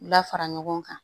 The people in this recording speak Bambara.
U la fara ɲɔgɔn kan